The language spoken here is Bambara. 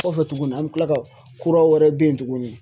Kɔfɛ tuguni an bɛ tila ka kura wɛrɛ bɛ yen tuguni